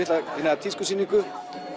tískusýningu